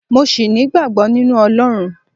mo sì nigbagbo ninu Olorun